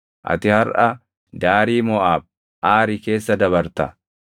“Ati harʼa daarii Moʼaab, Aari keessa dabarta.